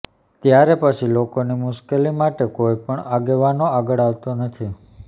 ત્યારે પછી લોકોની મુશ્કેલી માટે કોઇ પણ આગેવાનો આગળ આવતો નથી